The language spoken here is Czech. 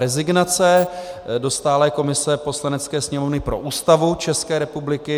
Rezignace do stálé komise Poslanecké sněmovny pro Ústavu České republiky.